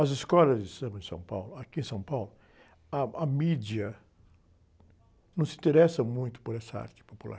As escolas de samba de São Paulo, aqui em São Paulo, ah, a mídia não se interessa muito por essa arte popular.